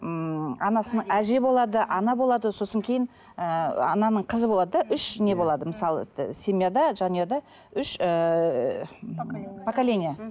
ммм анасының әже болады ана болады сосын кейін ііі ананың қызы болады да үш не болады мысалы семьяда жанұяда үш ііі поколения поколения